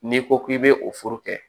N'i ko k'i bɛ o fura kɛ